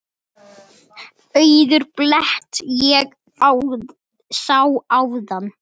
Auðan blett ég áðan sá.